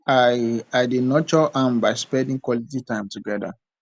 i i dey nurture am by spending quality time together